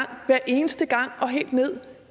hver eneste gang og helt ned